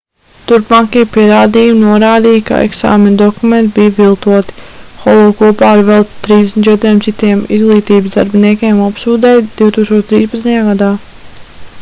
turpmākie pierādījumi norādīja ka eksāmenu dokumenti bija viltoti holu kopā ar vēl 34 citiem izglītības darbiniekiem apsūdzēja 2013. gadā